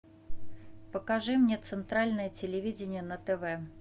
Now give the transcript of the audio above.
покажи мне центральное телевидение на тв